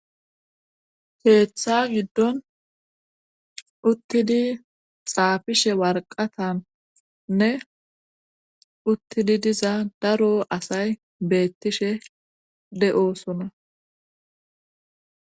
Keeththa giddon uttidi xaafishe warqatanne uttidi diza daro asay beettishe de'osona.